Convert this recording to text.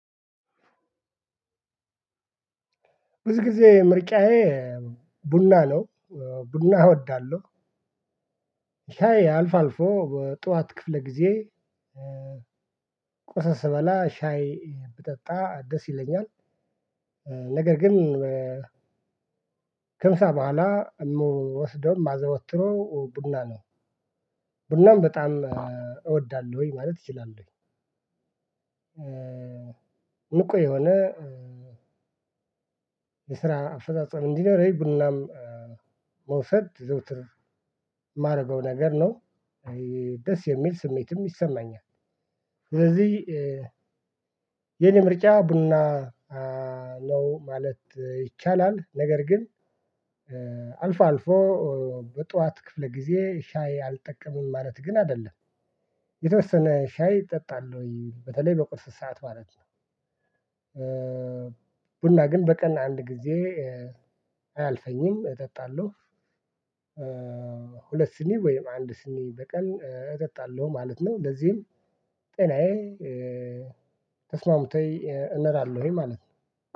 ብዙ ጊዜ ምጫዬ ቡና ነው ቡና እወዳለሁ። ሻይ አልፎ አልፎ ጠዋት ክፍለ ጊዜ ቁርስ ስበላ ሻይ ብጠጣ ደስ ይለኛል። ነገር ግን ከምሳ በኋላ የምወስደውም ማዘወትረው ቡና ነው። ቡናም በጣም እወዳለሁኝ ማለት እችላለሁኝ። እንቁ የሆነ የስራ አፈጻጸም እንዲኖረኝ ቡናም መውሰድ ዘወትር የማደርገው ነገር ነው። ይሄ ደስ የሚል ስሜትም ይሰማኛል። ስለዚህ የኔ ምርጫ ቡና ነው ማለት ይቻላል። ነገር ግን አልፎ አልፎ በጧት ክፍለ ጊዜ ሻይ አልጠቀምም ማለት ግን አይደለም። የተወሰነ ሻይ እጠጣለሁ በተለይ በቁርስ ሰዓት ማለት ነው። ቡና ግን በቀን አንድ ጊዜ አያልፈኝም እጠጣለሁ። ሁለት ስኒ ወይም አንድ ስኒ በቀን እጠጣለሁ ማለት ነው። እንደዚህም ጤናዬ ተስማምቶኝ እኖራለሁኝ ማለት ነው።